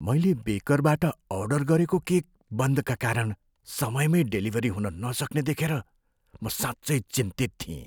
मैले बेकरबाट अर्डर गरेको केक बन्दका कारण समयमै डेलिभरी हुन नसक्ने देखेर म साँच्चै चिन्तित थिएँ।